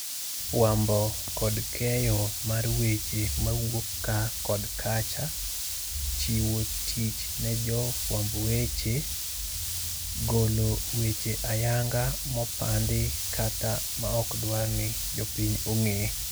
Fuambo kod keyo mar weche mawuok kaa kod kacha. Chiwo tich ne jofuamb weche. Golo weche ayanga mopandi kata maokdwarni jopiny ong'e.